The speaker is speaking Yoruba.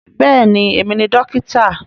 Bẹ́ẹ̀ni, èmi ni dókítà